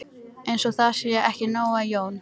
Eins og það sé ekki nóg að Jón